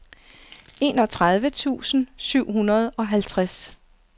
enogtredive tusind syv hundrede og halvtreds